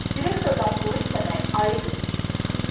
Direktordan pulu istəmək ayıb imiş.